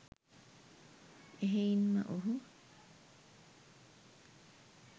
එහෙයින්ම ඔහු